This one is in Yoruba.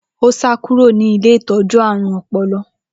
Ó sá kúrò ní ilé ìtọ́jú ààrùn ọpọlọ.